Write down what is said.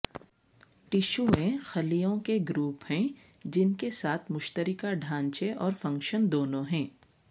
ٹشویں خلیوں کے گروپ ہیں جن کے ساتھ مشترکہ ڈھانچے اور فنکشن دونوں ہیں